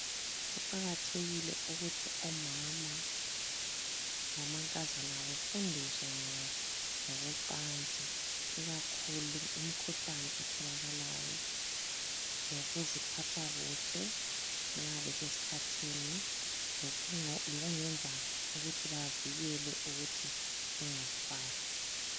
Kuqakathekile ukuthi omama lamankazana befundiswe ngokwecansi ikakhulu imikhuhlane etholakalayo lokuziphatha kuhle nxa besesikhathini lokungenza ukuthi bavikele ukuthi bengazithwali.